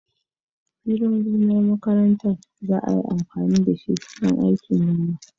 Filin gonar makaranta za a yi amfani da shi don aikin noma